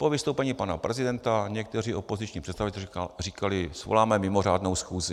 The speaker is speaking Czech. Po vystoupení pana prezidenta někteří opoziční představitelé říkali: svoláme mimořádnou schůzi.